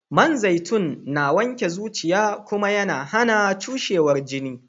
Man zaitun na wanke zuciya Kuma YAna HAna cushewar jini